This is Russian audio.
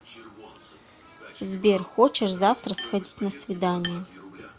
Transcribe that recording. сбер хочешь завтра сходить на свидание